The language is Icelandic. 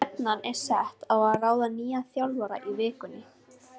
Stefnan er sett á að ráða nýjan þjálfara í vikunni.